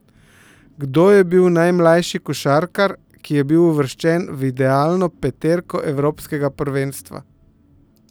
Kdo je bil najmlajši košarkar, ki je bil uvrščen v idealno peterko evropskega prvenstva?